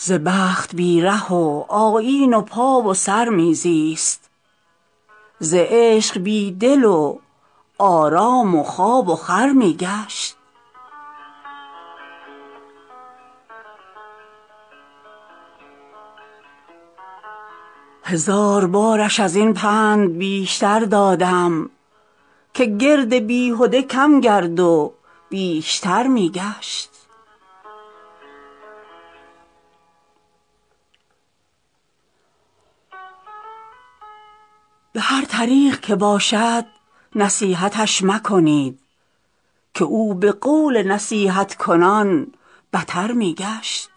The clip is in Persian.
ز بخت بی ره و آیین و پا و سر می زیست ز عشق بی دل و آرام و خواب و خور می گشت هزار بارش از این پند بیشتر دادم که گرد بیهده کم گرد و بیشتر می گشت به هر طریق که باشد نصیحتش مکنید که او به قول نصیحت کنان بتر می گشت